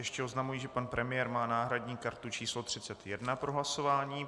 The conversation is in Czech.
Ještě oznamuji, že pan premiér má náhradní kartu číslo 31 pro hlasování.